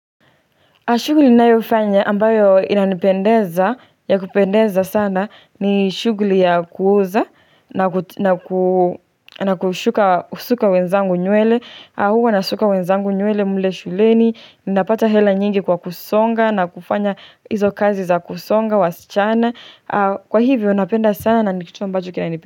Shughuli ninayofanya ambayo inanipendeza, ya kupendeza sana ni shughli ya kuuza na kushuka kusuka wenzangu nywele, huwa nasuka wenzangu nywele mle shuleni, napata hela nyingi kwa kusonga na kufanya hizo kazi za kusonga, wasichana, kwa hivyo napenda sana na ni kitu ambacho kinanipenda.